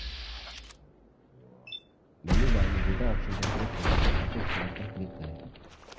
menu bar में data option पर click करें और फिर sort पर click करें